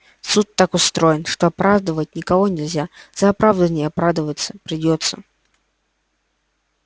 суд так устроен что оправдывать никого нельзя за оправдывания оправдываться придётся